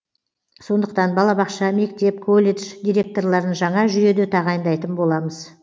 сондықтан балабақша мектеп колледж директорларын жаңа жүйеде тағайындайтын боламыз